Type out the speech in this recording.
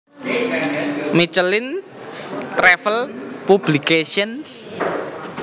Michelin Travel Publications